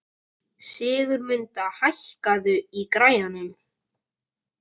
Sigurmunda, hækkaðu í græjunum.